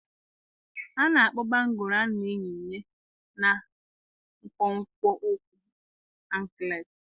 A na-akpọ bangụ́lụ a na-eyi na nkwonkwo ụkwụ ankletị